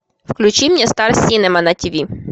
включи мне стар синема на тв